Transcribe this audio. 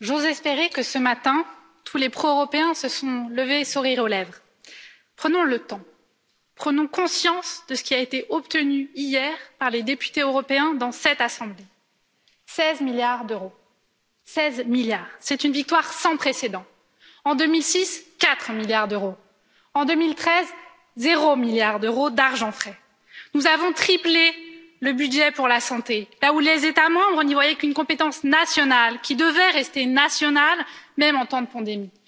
Monsieur le Président, Monsieur le Commissaire, chers collègues, j'ose espérer que ce matin tous les pro européens se sont levés le sourire aux lèvres. Prenons le temps, prenons conscience de ce qui a été obtenu hier par les députés européens dans cette Assemblée 16 milliards d'euros. Seize milliards! C'est une victoire sans précédent. En 2006, quatre milliards d'euros. En 2013, zéro milliard d'euros d'argent frais. Nous avons triplé le budget pour la santé, là où les États membres n'y voyaient qu'une compétence nationale qui devait rester nationale, même en temps de pandémie.